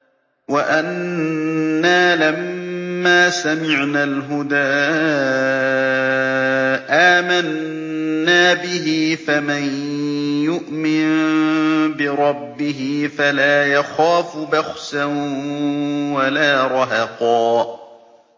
وَأَنَّا لَمَّا سَمِعْنَا الْهُدَىٰ آمَنَّا بِهِ ۖ فَمَن يُؤْمِن بِرَبِّهِ فَلَا يَخَافُ بَخْسًا وَلَا رَهَقًا